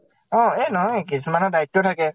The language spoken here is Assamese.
অ এই নহয়। কিছুমানৰ দায়িত্ব থাকে